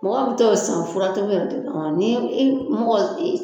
Mɔgɔw be taa o san furatobi yɛrɛ de kama ni i mɔgɔ i